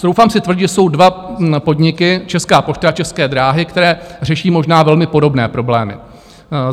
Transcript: Troufám si tvrdit, že jsou dva podniky, Česká pošta a České dráhy, které řeší možná velmi podobné problémy.